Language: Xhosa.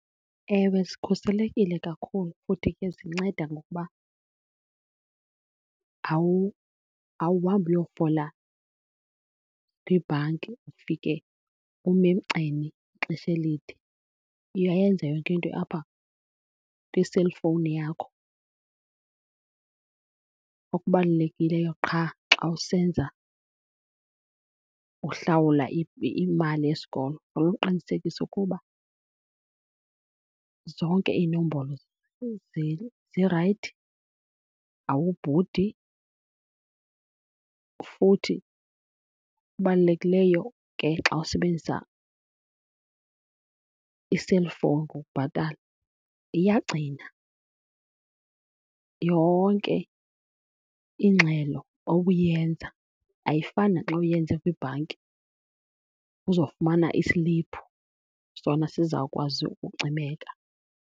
Ewe, zikhuselekile kakhulu futhi ke zinceda ngokuba awuhambi uyofola kwibhanki ufike ume emgceni ixesha elide, uyayenza yonke into apha kwiselfowuni yakho. Okubalulekileyo qha xa usenza, uhlawula imali yesikolo uqinisekise ukuba zonke iinombolo zirayithi, awubhudi. Futhi okubalulekileyo ke xa usebenzisa iselfowuni ukubhatala, iyagcina yonke ingxelo obuyenza. Ayifani naxa uyenze kwibhanki uzofumana isiliphu sona sizawukwazi ukucimeka.